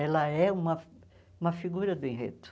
Ela é uma uma figura do enredo.